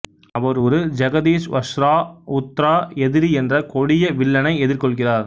அவர் ஒரு ஜகதீஸ்வஸ்ரா உத்ரா எதிரி என்ற கொடிய வில்லனை எதிர்கொள்கிறார்